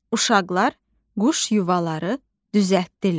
Uşaqlar quş yuvaları düzəltdilər.